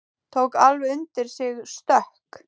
Tók alveg undir sig stökk!